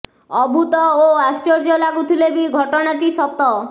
ଅଦ୍ଭୁତ ଓ ଆଶ୍ଚର୍ଯ୍ୟ ଲାଗୁଥିଲେ ବି ଘଟଣା ଟି ସତ